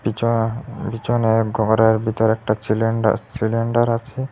চা পিছনে ঘরের বিতর একটা ছিলিন্ডার ছিলিন্ডার আছে।